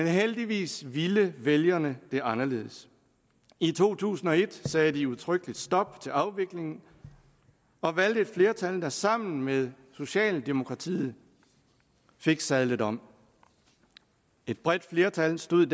heldigvis ville vælgerne det anderledes i to tusind og et sagde de udtrykkeligt stop til afviklingen og valgte et flertal der sammen med socialdemokratiet fik sadlet om et bredt flertal stod